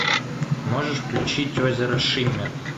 можешь включить озеро шиммер